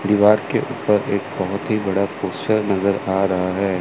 दीवार के ऊपर एक बहुत ही बड़ा पोस्टर नज़र आ रहा है।